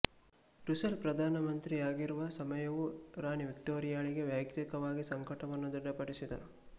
Russell ಪ್ರಧಾನ ಮಂತ್ರಿಯಾಗಿರುವ ಸಮಯವು ರಾಣಿ ವಿಕ್ಟೋರಿಯಾಳಿಗೆ ವೈಯಕ್ತಿಕವಾಗಿ ಸಂಕಟವನ್ನು ದೃಢಪಡಿಸಿದನು